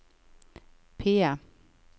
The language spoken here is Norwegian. PIE